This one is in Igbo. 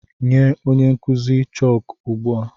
Nye onye nkụzi chọọkụ ugbu a!